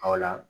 Ɔ